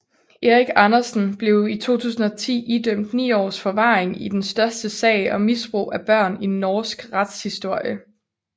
Erik Andersen blev i 2010 idømt 9 års forvaring i den største sag om misbrug af børn i norsk retshistorie